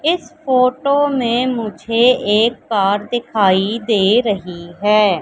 इस फोटो में मुझे एक कार दिखाई दे रही हैं।